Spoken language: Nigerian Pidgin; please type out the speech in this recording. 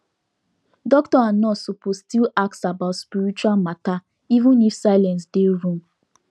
doctor and nurse suppose still ask about spiritual matter even if silence dey room